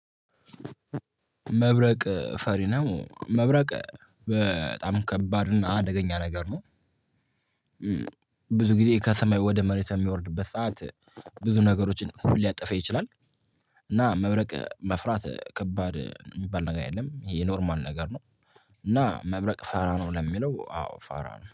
መብረቅ ፈሪ ነው መብረቅ በጣም ከባድ እና አደገኛ ነገር ነው። ብዙ ጊዜ ከሰማይ ወደ መሬት የሚወርድበት ሰዓት ብዙ ነገሮችን ሊያጠፋ ይችላል እና መብረቅ መፍራት ከባድ የሚባል ነገር አይደለም ይሄ ኖርማል ነገር ነው እና መብረቅ ፋራ ነው? ለሚለው አዎ ፋራ ነው።